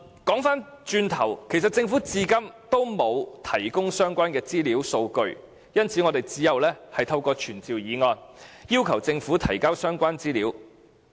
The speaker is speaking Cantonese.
說回頭，政府至今仍沒有提供相關資料數據，因此我們只有透過傳召議案，要求政府提交相關資料。